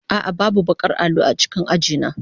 A'a, babu baƙar allo a cikin aji na.